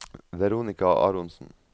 Veronica Aronsen